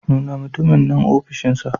Nuna mutumin nan ofishinsa.